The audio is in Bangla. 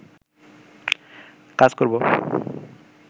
কাজ করবো